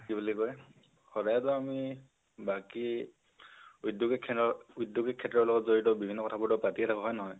হেৰি, কি বুলি কয় সদায়টো আমি বাকি উদ্যোগিক উদ্যোগি ক্ষেত্ৰৰ লগত জড়িত বিভিন্ন কথাবোৰটো পাতিয়ে থাকো হয়নে নহয়?